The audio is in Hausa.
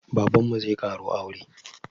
Babanmu zai ƙaro aure